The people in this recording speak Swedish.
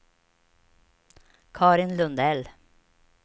Carin Lundell